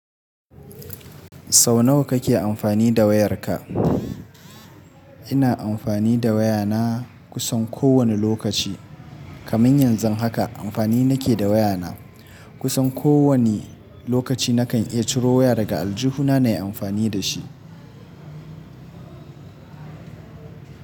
Sau nawa kake amfani da wayarka? Ina amfani da wayana kusan kowane lokaci. Kaman yanzu haka amfani nake da wayana. Kusan kowane lokaci nakan iya ciro waya daga aljihuna na yi amfani da shi.